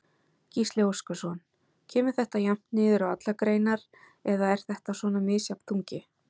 Gísli Óskarsson: Kemur þetta jafnt niður á allar greinar eða er þetta svona misjafn þungi?